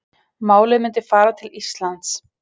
Málið myndi fara til Íslands